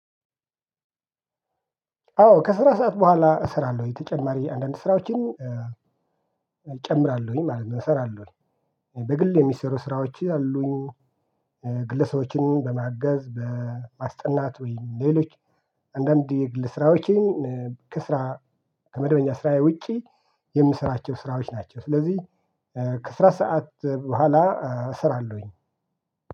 አዎ ከስራ ሰዓት በኋላ እሰራለሁ ተጨማሪ አንዳንድ ስራዎችን እ እጨምራለሁ ማለት ነው እሰራለሁኝ። በግል የሚሰሩ ስራዎች አሉኝ። እ ግለሰቦችን በማገዝ በማስጠናት ወይም ሌሎች አንዳንድ የግል ስራዎችን እ ከስራ ከመደበኛ ስራዬ ውጪ የምስራቸው ስራዎች ናቸው። ስለዚህ እ ከስራ ሰዓት በኋላ እሰራለሁኝ